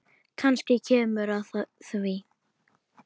Kannski kemur að því.